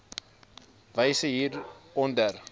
wyse hier onder